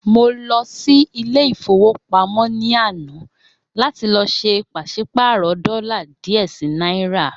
Mo lọ sí Ilé-ìfowópamó ní àná láti lọ sé pàsípààrò dólà díè sí náírà.